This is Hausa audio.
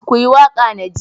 ku yi waƙa na ji!